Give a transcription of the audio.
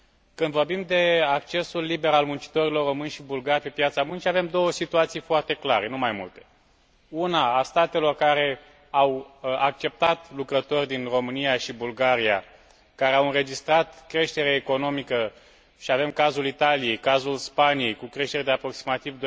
Când vorbim de accesul liber al muncitorilor români și bulgari pe piața muncii, avem două situații foarte clare, nu mai multe una, a statelor care au acceptat lucrători din România și Bulgaria, care au înregistrat creștere economică și avem cazul Italiei, cazul Spaniei, cu creștere de aproximativ